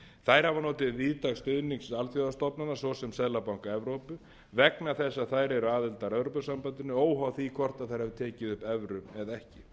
þær hafa notið víðtæks stuðnings alþjóðastofnana svo sem seðlabanka evrópu vegna þess að þær eru aðilar að evrópusambandinu óháð því hvort þær hafi tekið upp evru eða ekki